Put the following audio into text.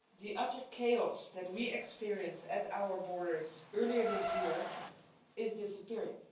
The utter chaos that we experienced at our borders earlier this year is disappearing.